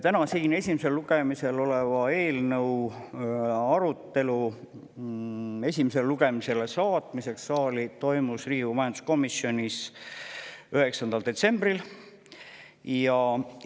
Täna siin esimesel lugemisel oleva eelnõu esimesele lugemisele saatmiseks saali toimus 9. detsembril Riigikogu majanduskomisjonis.